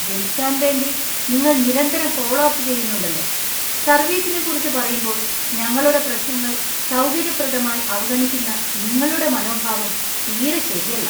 വിൽക്കാൻ വേണ്ടി നിങ്ങൾ നിരന്തരം ഫോളോ അപ്പ് ചെയ്യുന്നുണ്ടല്ലോ, സർവീസിനെക്കുറിച്ച് പറയുമ്പോൾ, ഞങ്ങളുടെ പ്രശ്നങ്ങൾ സൗകര്യപ്രദമായി അവഗണിക്കുന്ന നിങ്ങളുടെ മനോഭാവം തീരെ ശരിയല്ല .